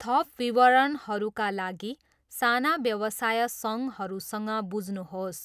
थप विवरणहरूका लागि साना व्यवसाय सङ्घहरूसँग बुझ्नुहोस्।